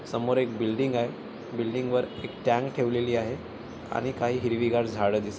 समोर एक बिल्डिंगय बिल्डिंग वर एक टॅंक ठेवलेली आहे आणि काही हिरवी गार झाड दिसत--